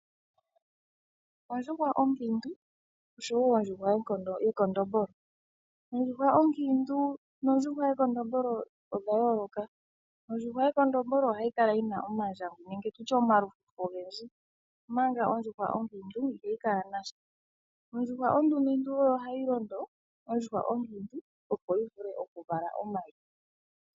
Ondjuhwa onkiintu oshowo Ondjuhwa yekondombolo. Ondjuhwa onkiintu nondjuhwa yekondombolo odha yooloka. Ondjuhwa yekondombolo ohayi kala yi na omandjangwi nenge tutye omalufufu ogendji, omanga ondjuhwa onkiintu ihayi kala nasha. Ondjuhwa ondumentu oyo hayi londo ondjuhwa onkiintu opo yi vule okuvala omayi.